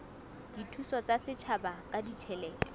dithuso tsa setjhaba ka ditjhelete